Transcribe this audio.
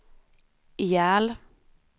ihjäl